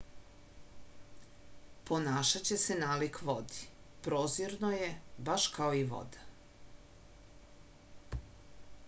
ponašaće se nalik vodi prozirno je baš kao i voda